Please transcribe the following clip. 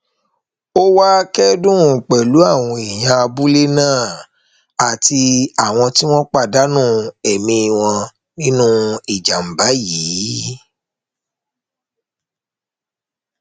ó wàá kẹdùn pẹlú àwọn èèyàn abúlé náà àti àwọn tí wọn pàdánù ẹmí wọn nínú ìjàmbá yìí